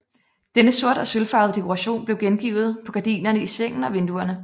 Denne sort og sølvfarvede dekoration blev gengivet på gardinerne i sengen og vinduerne